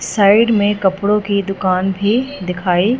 side में कपड़ों की दुकान भी दिखाई--